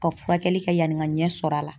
Ka furakɛli kɛ yani n ka ɲɛ sɔrɔ a la.